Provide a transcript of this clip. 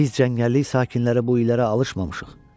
Biz cəngəllik sakinləri bu illərə alışmamışıq.